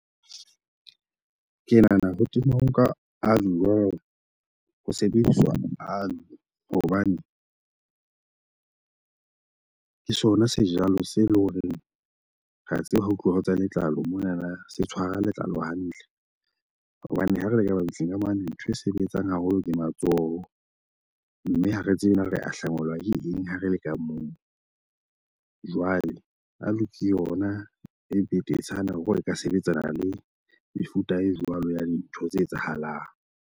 Ke nahana ho temo nka a jwang ho sebediswa aloe. Hobane ke sona sejalo se loreng ra tseba ha ho tluwa ho tsa letlalo monana se tshwara letlalo hantle. Hobane ha re leka mabitleng ka mane ntho e sebetsang haholo ke matsoho. Mme ha re tsebe na re ahlangwela ke eng ha re leka moo. Jwale aloe ke yona e betetshana hore le ka sebetsana le mefuta e jwalo ya dintho tse etsahalang.